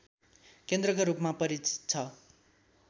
केन्द्रका रूपमा परिचित छ